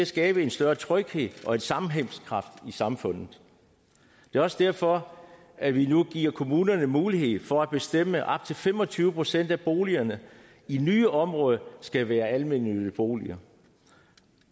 skabe en større tryghed og en sammenhængskraft i samfundet det også derfor at vi nu giver kommunerne mulighed for at bestemme at til fem og tyve procent af boligerne i nye områder skal være almennyttige boliger